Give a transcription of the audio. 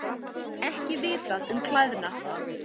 Ekki vitað um klæðnað